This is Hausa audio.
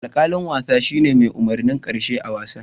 Alkalin wasa shine mai umurnin karshe a'wasan.